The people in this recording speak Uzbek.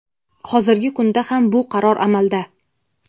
Hozirgi kunda ham bu qaror amalda.